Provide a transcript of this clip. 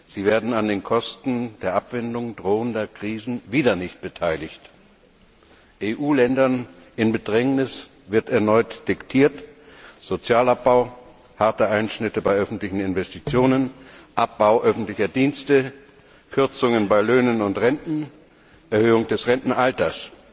Sie werden an den Kosten der Abwendung drohender Krisen wieder nicht beteiligt. EU Ländern in Bedrängnis wird erneut diktiert Sozialabbau, harte Einschnitte bei öffentlichen Investitionen, Abbau öffentlicher Dienste, Kürzungen bei Löhnen und Renten, Erhöhung des Rentenalters.